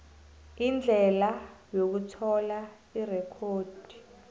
indlela yokuthola irekhodi